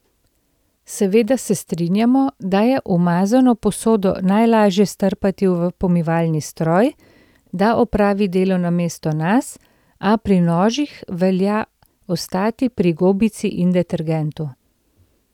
Seveda se strinjamo, da je umazano posodo najlažje strpati v pomivalni stroj, da opravi delo namesto nas, a pri nožih velja ostati pri gobici in detergentu.